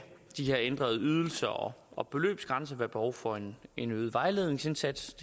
de her ændrede ydelser og og beløbsgrænser være behov for en øget vejledningsindsats